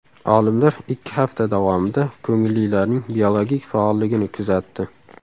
Olimlar ikki hafta davomida ko‘ngillilarning biologik faolligini kuzatdi.